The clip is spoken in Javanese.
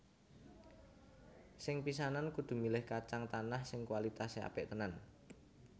Sing pisanan kudu milih kacang tanah sing kualitasé apik tenan